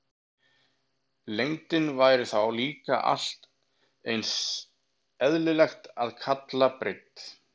Lengdina væri þá líka allt eins eðlilegt að kalla breidd.